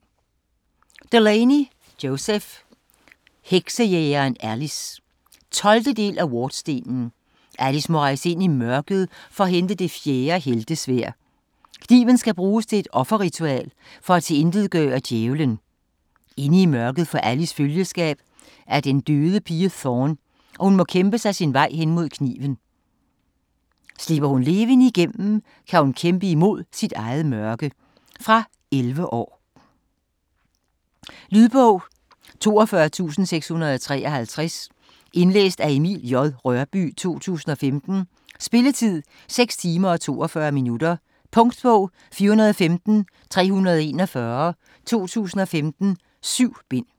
Delaney, Joseph: Heksejægeren Alice 12. del af Wardstenen. Alice må rejse ind i mørket, for at hente det fjerde heltesværd. Kniven skal bruges til et offerritual, for at tilintetgøre Djævelen. Inde i mørket får Alice følgeskab af den døde pige Thorne, og hun må kæmpe sin vej mod kniven. Slipper hun levende igennem, og kan hun kæmpe imod sit eget mørke. Fra 11 år. Lydbog 42653 Indlæst af Emil J. Rørbye, 2015. Spilletid: 6 timer, 42 minutter. Punktbog 415341 2015. 7 bind.